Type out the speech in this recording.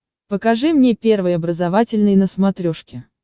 покажи мне первый образовательный на смотрешке